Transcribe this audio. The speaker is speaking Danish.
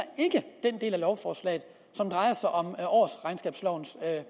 den del af lovforslaget som drejer sig om årsregnskabslovens